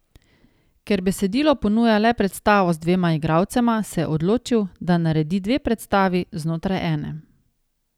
Ker besedilo ponuja le predstavo z dvema igralcema, se je odločil, da naredi dve predstavi znotraj ene.